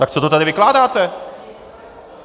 Tak co to tady vykládáte?